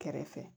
Kɛrɛfɛ